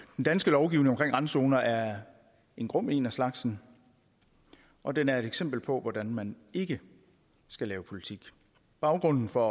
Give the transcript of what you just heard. den danske lovgivning om randzoner er en grum en af slagsen og den er et eksempel på hvordan man ikke skal lave politik baggrunden for